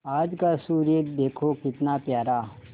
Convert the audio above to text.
आज का सूर्य देखो कितना प्यारा